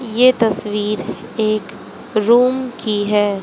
ये तस्वीर एक रूम की है।